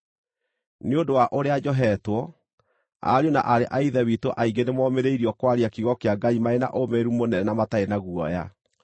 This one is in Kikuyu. Nĩ ũndũ wa ũrĩa njohetwo, ariũ na aarĩ a Ithe witũ aingĩ nĩmomĩrĩirio kwaria kiugo kĩa Ngai marĩ na ũũmĩrĩru mũnene na matarĩ na guoya.